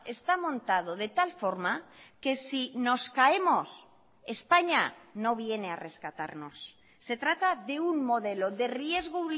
está montado de tal forma que si nos caemos españa no viene a rescatarnos se trata de un modelo de riesgo